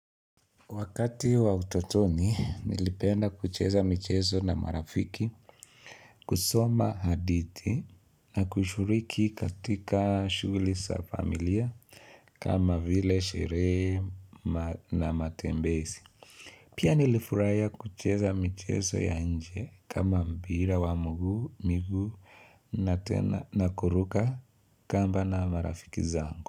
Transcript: Wakati wa utotoni nilipenda kucheza michezo na marafiki, kusoma hadithi na kushiriki katika shughuli za familia kama vile sherehe na matembezi. Pia nilifurahia kucheza michezo ya nje kama mpira wa miguu na tena na kuruka kamba na marafiki zangu.